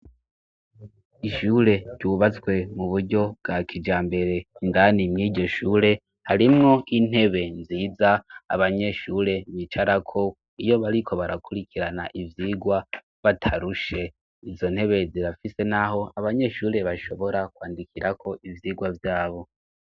Ishure ryubatswe mu buryo bwa kija mbere ingani mwiryo shure harimwo intebe nziza abanyeshure micarako iyo bariko barakurikirana ivyigwa batarushe inzo ntebe zirafise, naho abanyeshure bashobora kwandikirako ivyirwa vyabo.